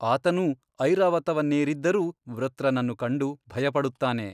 ಆತನೂ ಐರಾವತವನ್ನೇರಿದ್ದರೂ ವೃತ್ರನನ್ನು ಕಂಡು ಭಯಪಡುತ್ತಾನೆ.